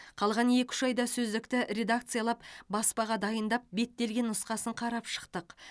қалған екі үш айда сөздікті редакциялап баспаға дайындап беттелген нұсқасын қарап шықтық